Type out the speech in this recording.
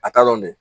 A t'a dɔn dɛ